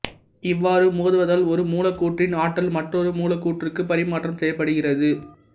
இவ்வாறு மோதுவதால் ஒரு மூலக்கூற்றின் ஆற்றல் மற்றோர் மூலக்கூற்றுக்குப் பரிமாற்றம் செய்யப்படுகிறது